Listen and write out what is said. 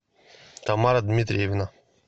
тамара дмитриевна